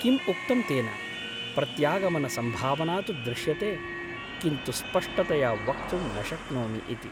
किम् उक्तं तेन ? प्रत्यागमनसम्भावना तु दृश्यते , किन्तु स्पष्टतया वक्तुं न शक्नोमि इति ।